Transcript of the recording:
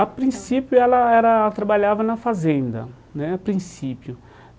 A princípio ela era trabalhava na fazenda né, a princípio.